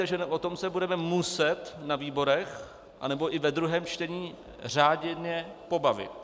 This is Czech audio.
Takže o tom se budeme muset na výborech nebo i ve druhém čtení řádně pobavit.